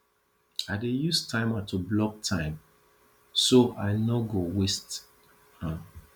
i dey use timer to block time so i no go waste am